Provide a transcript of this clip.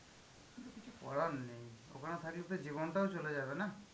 কিছু করার নেই ওখানে থাকলে তো জীবন টাও চলে যাবে না?